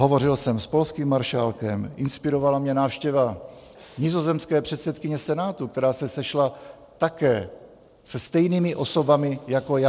Hovořil jsem s polským maršálkem, inspirovala mě návštěva nizozemské předsedkyně Senátu, která se sešla také se stejnými osobami jako já.